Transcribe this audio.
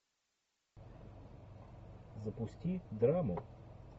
запусти драму